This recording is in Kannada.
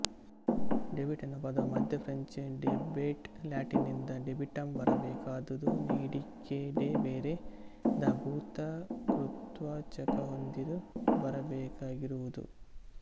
ಡೆಬಿಟ್ ಎನ್ನುವ ಪದವು ಮಧ್ಯ ಫ್ರೆಂಚ್ ಡೆಬೆಟ್ ಲ್ಯಾಟಿನ್ ನಿಂದ ಡೆಬಿಟಮ್ ಬರಬೇಕಾದುದುನೀಡಿಕೆಡೆಬೆರೆ ದ ಭೂತ ಕೃದ್ವಾಚಕಹೊಂದಿರು ಬರಬೇಕಾಗಿರುವುದು